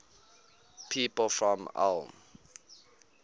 people from ulm